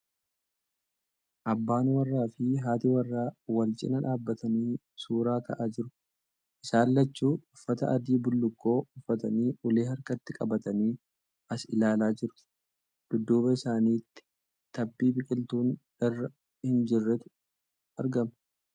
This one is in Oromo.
Abbaan warraa fi haati warraa wal cinaa dhaabbatanii suuraa ka'aa jiru. Isaan. lachuu uffata adii bullukkoo uffatanii ulee harkatti qabataniii as ilaalaa jiru. Dudduuba isaanitti tabbi biqiltuun irra hin jirretu argama.